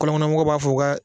Kɔlɔn kɔnɔ mɔgɔw b'a fɔ o kɛ.